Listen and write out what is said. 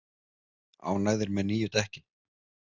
Ánægðir með nýju dekkin